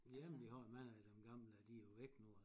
Jamen vi har jo mange af dem gamle de jo væk nu